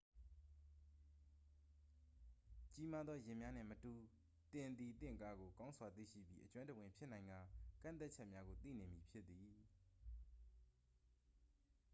ကြီးမားသော ယာဉ်များနှင့်မတူ သင်သည်သင့်ကားကို ကောင်းစွာသိရှိပြီး အကျွမ်းတဝင်ဖြစ်နိုင်ကာ ကန့်သတ်ချက်များကို သိနေမည်ဖြစ်သည်